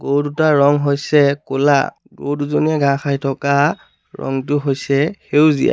গৰু দুটাৰ ৰং হৈছে ক'লা গৰু দুজনীয়ে ঘাঁহ খাই থকা ৰংটো হৈছে সেউজীয়া।